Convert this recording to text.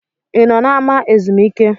I nọ n’ama ezumike?